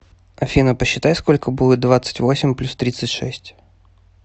афина посчитай сколько будет двадцать восемь плюс тридцать шесть